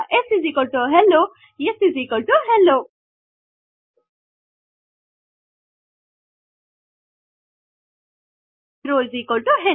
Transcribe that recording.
shello ಟಿಒ sHello